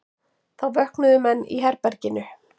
Þá vöknuðu menn í herberginu.